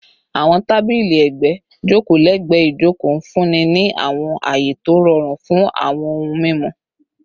Awọn tabili ẹgbẹ joko lẹgbẹẹ ijoko, nfunni ni awọn aye to rọrun fun awọn ohun mimu